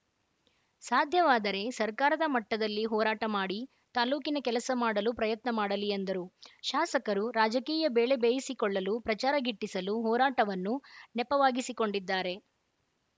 ಸಾಧ್ಯವಾದರೆ ಸರ್ಕಾರದ ಮಟ್ಟದಲ್ಲಿ ಹೋರಾಟ ಮಾಡಿ ತಾಲೂಕಿನ ಕೆಲಸ ಮಾಡಲು ಪ್ರಯತ್ನ ಮಾಡಲಿ ಎಂದರು ಶಾಸಕರು ರಾಜಕೀಯ ಬೇಳೆ ಬೇಯಿಸಿಕೊಳ್ಳಲು ಪ್ರಚಾರ ಗಿಟ್ಟಿಸಲು ಹೋರಾಟವನ್ನು ನೆಪವಾಗಿಸಿಕೊಂಡಿದ್ದಾರೆ